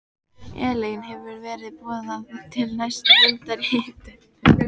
Elín hefur verið boðað til næsta fundar í deilunni?